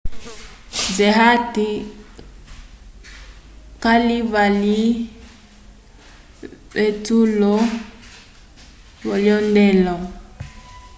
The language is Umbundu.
zeyat calivalwile vetusulo lovyendelo